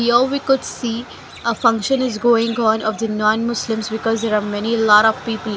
here we could see a function is going on of the non muslims because there are many lot of people.